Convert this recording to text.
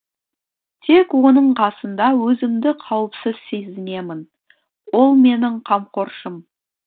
тек оның қасында өзімді қауіпсіз сезінемін ол менің қамқоршым